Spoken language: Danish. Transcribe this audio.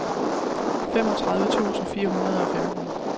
femogtredive tusind fire hundrede og femten